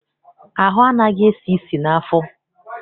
Ahụ anaghị esi isi n'afọ.